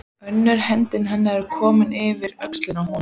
Önnur hönd hennar er komin yfir öxlina á honum.